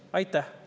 Aitäh!